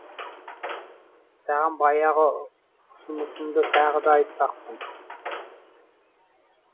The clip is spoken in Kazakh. саған баяғы ұсынысымды тағы да айтпақпын